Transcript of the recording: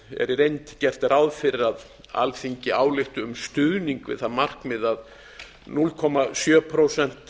í reynd gert ráð fyrir að alþingi álykti um stuðning við það markmið að núll komma sjö prósent